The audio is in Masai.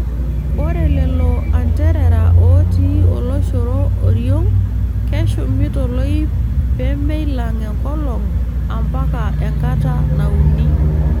Ore lelo anterera ootii oloshoro oriong' keshumi toloip peemeilang' enkolong ampaka enkata nauni.